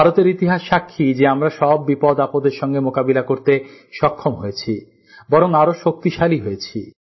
ভারতের ইতিহাস সাক্ষী যে আমরা সব বিপদ আপদের সাথে মোকাবিলা করতে সক্ষম হয়েছি বরং আরও শক্তিশালী হয়েছি